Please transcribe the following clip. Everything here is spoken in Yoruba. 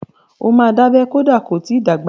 Ó máa dábẹ́ kọ́dà ko ti dàgbà.